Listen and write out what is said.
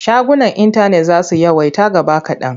Shagunan intanet za su yawaita gaba kaɗan.